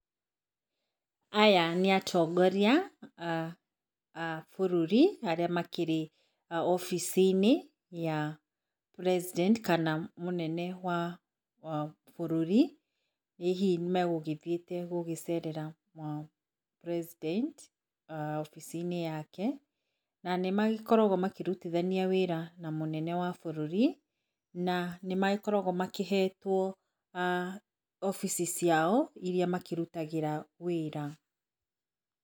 Aya nĩ atongoria aah a bũrũri arĩa makĩrĩ obici-inĩ ya president kana mũnene wa bũrũri hihi megugĩthiĩte gũcerera president obici-inĩ yake, na nĩmagĩkoragwo makĩrutithania wĩra na mũnene wa bũrũri, na nĩ magĩkoragwo makĩhetwo aah obici ciao irĩa makĩrutagĩra wĩra.